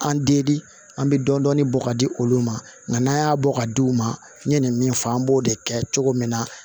An den an bɛ dɔɔnin dɔɔnin bɔ k'a di olu ma nka n'an y'a bɔ ka di u ma n ye nin min fɔ an b'o de kɛ cogo min na